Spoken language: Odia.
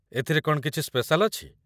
ଏଥିରେ କ'ଣ କିଛି ସ୍ପେଶାଲ୍ ଅଛି?